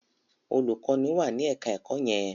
olùkọ́ní wà ní ẹ̀ka-ẹ̀kọ́ yẹn.